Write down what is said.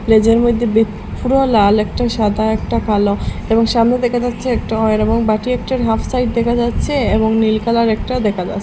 মেঝের মইদ্যে বে পুরো লাল একটা সাদা একটা কালো এবং সামনে দেখা যাচ্ছে একটা এবং বাটি একটির হাফ সাইড দেখা যাচ্ছে এবং নীল কালারের একটা দেখা যাছ--